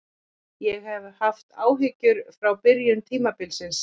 Ég hef haft áhyggjur frá byrjun tímabilsins.